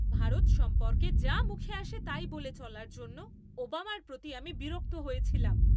ভারত সম্পর্কে যা মুখে আসে তাই বলে চলার জন্য ওবামার প্রতি আমি বিরক্ত হয়েছিলাম।